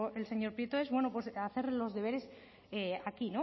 el señor prieto es hacer los deberes aquí